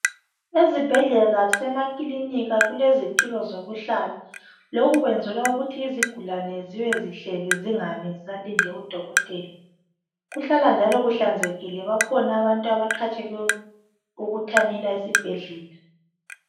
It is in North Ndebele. Ezibhedlela lasemakilinika kulezitulo zokuhlala lokhu kwenzelwa ukuthi izigulane zibe zihleli zingami zisalinde udokotela kuhlala njalo kuhlanzekile bakhona abantu abaqhatshwelwe ukuthanyela esibhedlela.